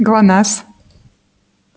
глонассс